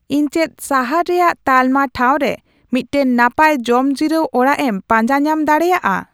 ᱤᱧ ᱪᱮᱫ ᱥᱟᱦᱟᱨ ᱨᱮᱭᱟᱜ ᱛᱟᱞᱢᱟ ᱴᱷᱟᱣ ᱨᱮ ᱢᱤᱫᱴᱟᱝ ᱱᱟᱯᱟᱭ ᱡᱚᱢ ᱡᱤᱨᱟᱹᱣ ᱚᱲᱟᱜ ᱮᱢ ᱯᱟᱸᱡᱟ ᱧᱟᱢ ᱫᱟᱲᱮᱭᱟᱜᱼᱟ